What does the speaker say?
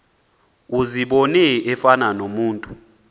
uzibone efana nomntu